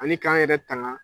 Ani k'an yɛrɛ tanga.